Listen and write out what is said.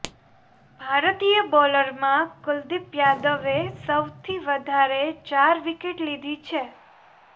ભારતીય બોલરમાં કુલદીપ યાદવે સૌથી વધારે ચાર વિકેટ લીધી છે